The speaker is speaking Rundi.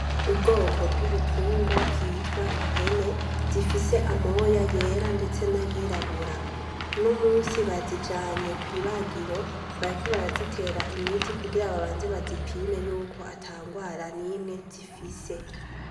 Ubwoko bw'ibitungwa vyitwa impene ,zifise amoya yera ndetse n'ayirabura, unomusi bazijana kwibagiro, bariko barazitera imiti kugira babanze bazipime yuko atangwara nimwe zifise.